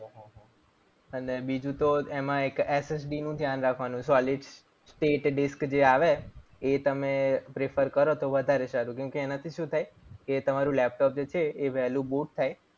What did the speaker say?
અને બીજું તો એમાં એક SSD નું ધ્યાન રાખવાનું solid state disk જે આવે. એ તમે prefer કરો તો વધારે સારું. કારણ કે એનાથી શું થાય એ તમારું જે લેપટોપ છે એ વહેલું boot થાય.